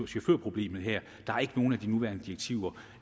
chaufførproblemet her der er ikke nogen af de nuværende direktiver